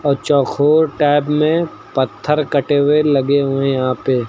और चौखोर टाइप में पत्थर कटे हुए लगे हुए यहां पे।